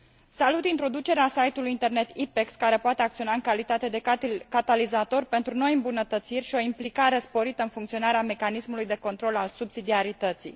Salut introducerea site ului internet IPEX, care poate acționa în calitate de catalizator pentru noi îmbunătățiri și o implicare sporită în funcționarea mecanismului de control al subsidiarității.